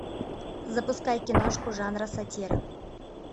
запускай киношку жанра сатира